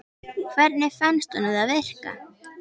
Hvernig fannst honum það virka?